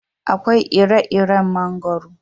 Akwai ire-iren mangoro.